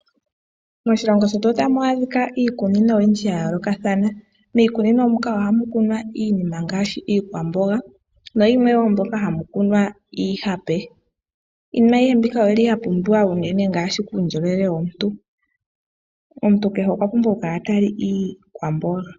Moshilongo shetu otamu adhika iikunino oyindji ya yoolokathana. Miikunino muka oha mu kunwa iinima ngaashi iikwamboga na yimwe moka ha mu kunwa iihape . Iinima ayihe mbika oyili ya pumbiwa unene ngaashi kuundjolowele womuntu. Omuntu kehe okwapumbwa oku kala ta li iikwamboga.